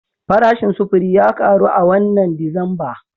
Farashin sufuri ya karu a wannan Disamba